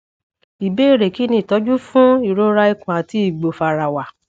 ìbéèrè kí ni itọju fun ìrora ikùn àti ìgbò fàràwà